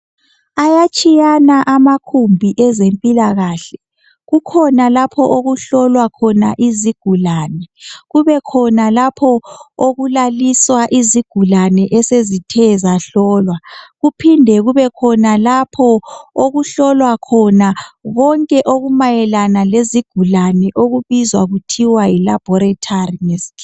Ayatshiyana amakhumbi ezempilakahle. Kukhona lapho okuhlowa khona izigulane, kubekhona lapho okulaliswa izigulane esezithe zahlolwa. Kuphinde kebekhona lapho okuhlolwa khona konke okumayelana lezigulane okubizwa kuthiwa yi laboratory ngesikhiwa.